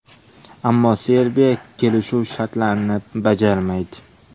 Ammo Serbiya kelishuv shartlarini bajarmaydi.